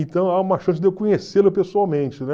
Então, há uma chance de eu conhecê-lo pessoalmente, né?